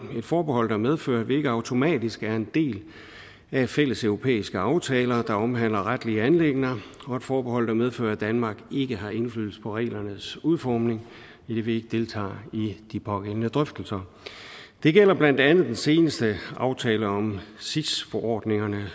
forbehold der medfører at vi ikke automatisk er en del af de fælleseuropæiske aftaler der omhandler retlige anliggender og et forbehold der medfører at danmark ikke har indflydelse på reglernes udformning idet vi ikke deltager i de pågældende drøftelser det gælder blandt andet den seneste aftale om sis forordningerne